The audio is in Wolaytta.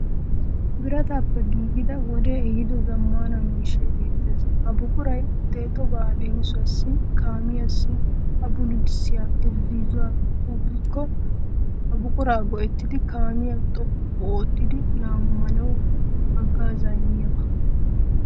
Birataappe giigida wodee ehiido zaammaana miishshay beettees. Ha buquray deexobaa leemisuwawu kaamiyassi a bululissiya irzzoy xuuqqikko ha buqura go'ettidi kaamiya xoqqu oottidi lammanawu haggaazzaa immiyaba.